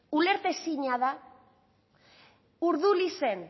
ulertezina da urdulizen